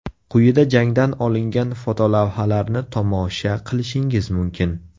Quyida jangdan olingan fotolavhalarni tomosha qilishingiz mumkin.